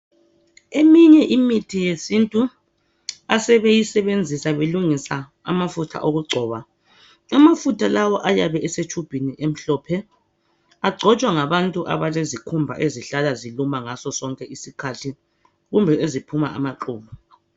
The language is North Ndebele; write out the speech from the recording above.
Eminye imithi yesintu asebeyisebenzisa belungisa amafutha okugcoba. Amafutha lawa ayabe esetshubhini emhlophe. Agcotshwa ngabantu abalezikhumba ezihlala ziluma ngasosonke isikhathi kumbe eziphuma amaqubu.